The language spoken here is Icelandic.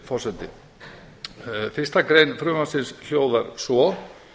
virðulegs forseta fyrsta grein frumvarpsins hljóðar svo